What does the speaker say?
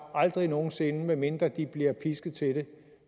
aldrig nogen sinde medmindre de blev pisket til det